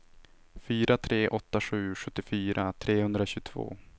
fyra tre åtta sju sjuttiofyra trehundratjugotvå